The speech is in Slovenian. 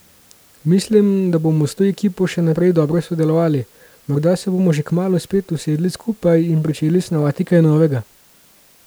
Mislim, da bomo s to ekipo še naprej dobro sodelovali, morda se bomo že kmalu spet usedli skupaj in pričeli snovati kaj novega.